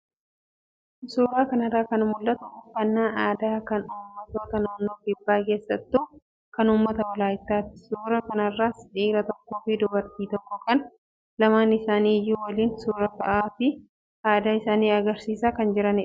Suuraa kanarraa kan mul'atu uffannaa aadaa kan uummattoota naannoo kibbaa keessattuu kan uummata walaayittaati. Suuraa kanarraas dhiira tokkoo fi dubartii tokko kan lamaan isaanii iyyuu waliin suuraa ka'aa fi aadaa isaanii agarsiisan argina.